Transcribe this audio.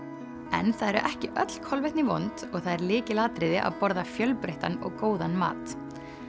en það eru ekki öll kolvetni vond og það er lykilatriði að borða fjölbreyttan og góðan mat